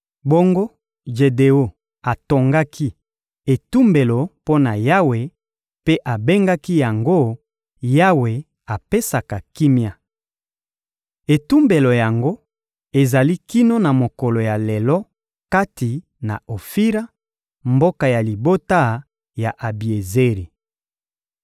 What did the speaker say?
Bongo Jedeon atongaki etumbelo mpo na Yawe mpe abengaki yango «Yawe apesaka kimia.» Etumbelo yango ezali kino na mokolo ya lelo kati na Ofira, mboka ya libota ya Abiezeri.